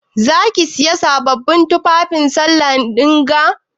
Za ki Siya sabon tufafi sallah dinga?